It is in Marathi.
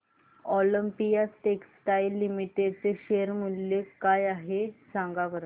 ऑलिम्पिया टेक्सटाइल्स लिमिटेड चे शेअर मूल्य काय आहे सांगा बरं